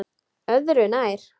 Öðru nær!